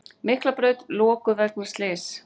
Miklabraut lokuð vegna slyss